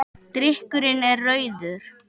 Drykkurinn er rauður.